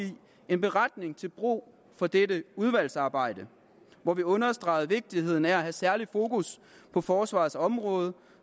en beretning til brug for dette udvalgsarbejde hvor vi understregede vigtigheden af at have særligt fokus på forsvarets område